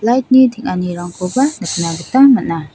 lait ni teng·anirangkoba nikna gita man·a.